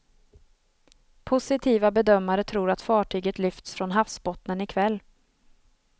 Positiva bedömare tror att fartyget lyfts från havsbottnen i kväll.